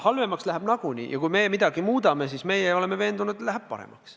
Halvemaks läheb nagunii ja kui meie midagi muudame, siis me oleme veendunud, et läheb paremaks.